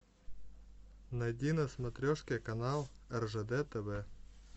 найди на смотрешке канал ржд тв